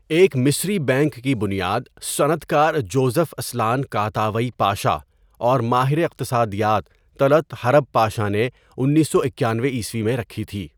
ایک مصری بینک کی بنیاد صنعت کار جوزف اسلان کاتاوئی پاشا اور ماہر اقتصادیات طلعت حرب پاشا نے انیسو اکانوےء میں رکھی تھی.